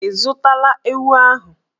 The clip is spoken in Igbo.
Ị zụtala ewu ahụ?